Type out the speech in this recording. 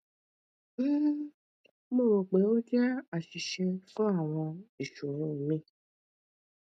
um mo ro pe o jẹ aṣiṣe fun awọn iṣoro mi